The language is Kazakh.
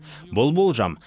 бұл болжам